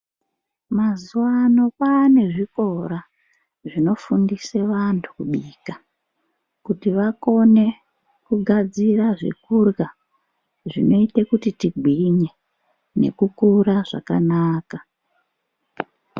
Mazuva ano kwane zvikora zvinofundise vantu kubika. Kuti vakone kugadzira zvekurya zvinoite kuti tigwinye nekukura zvakanaka.